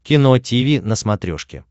кино тиви на смотрешке